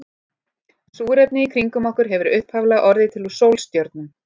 Súrefnið í kringum okkur hefur upphaflega orðið til í sólstjörnum.